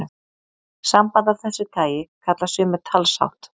Samband af þessu tagi kalla sumir talshátt.